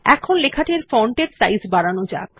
এখন লেখাটির ফন্ট এর সাইজ বাড়ানো যাক